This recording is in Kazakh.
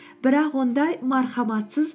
бірақ ондай мархаматсыз